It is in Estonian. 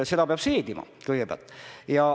Seda peab seedima kõigepealt.